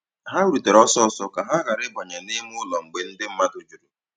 Ha rùtèrè ọ́sọ́sọ́ kà ha ghàrà ị̀bànyè n'ìmè ụ́lọ́ mgbe ndí mmadụ́ jùrù.